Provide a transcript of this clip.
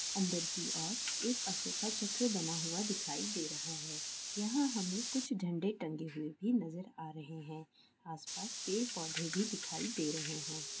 अंदर की ओर एक अशोका चक्र बना हुआ दिखाई दे रहा है यहाँ हमें कुछ झंडे टंगे हुए भी नजर आ रहे है आस-पास पेड़-पौधे भी दिखाई दे रहे है।